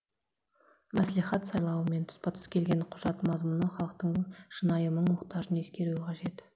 мәслихат сайлауымен тұспа тұс келген құжат мазмұны халықтың шынайы мұң мұқтажын ескеруі қажет